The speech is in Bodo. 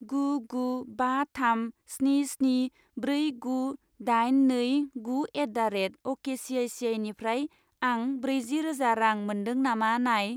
गु गु बा थाम स्नि स्नि ब्रै गु दाइन नै गु एट दा रेट अकेसिआइसिआइनिफ्राय आं ब्रैजि रोजा रां मोन्दों नामा नाय।